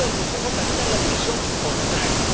La propuesta del Consejo camina en la dirección contraria.